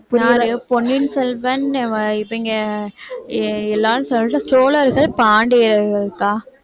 பொன்னியின் செல்வன்னு இவங்க எல்லாரும் சோழர்கள் பாண்டியர்கள் அக்கா